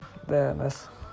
дээнэс